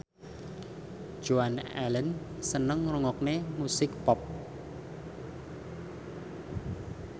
Joan Allen seneng ngrungokne musik pop